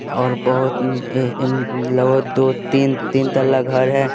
और बहुत दो तीन-तीन तल्ला घर है ।